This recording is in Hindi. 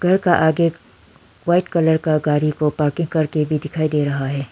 घर के आगे एक वाइट कलर का गाड़ी को पार्किंग करके भी दिखाई दे रहा है।